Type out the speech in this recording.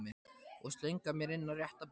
Og slöngva mér inn á rétta braut.